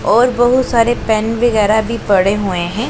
और बहुत सारे पेन वगैरह भी पड़े हुए हैं।